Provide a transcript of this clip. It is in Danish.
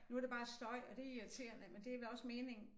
Nu er det bare støj og det irriterende men det vel også meningen